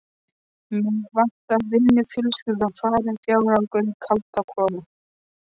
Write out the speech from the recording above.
Mig vantaði vinnu, fjölskyldan farin, fjárhagur í kaldakoli.